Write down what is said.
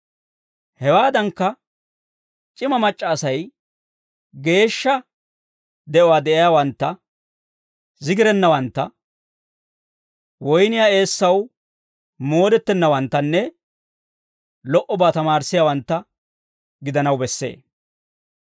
Hewaadankka c'ima mac'c'a Asay geeshsha de'uwaa de'iyaawantta, zigirennawantta, woyniyaa eessaw moodettennawanttanne lo"obaa tamaarissiyaawantta gidanaw bessee.